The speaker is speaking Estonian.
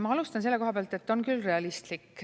Ma alustan selle koha pealt, et on küll realistlik.